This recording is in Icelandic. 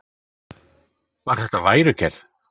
Var þetta værukærð?